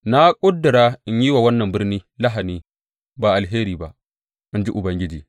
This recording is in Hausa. Na ƙudura in yi wa wannan birni lahani ba alheri ba, in ji Ubangiji.